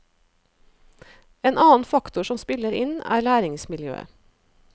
En annen faktor som spiller inn, er læringsmiljøet.